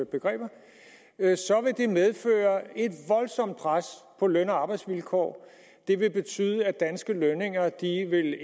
begreber så vil det medføre et voldsomt pres på løn og arbejdsvilkår det vil betyde at danske lønninger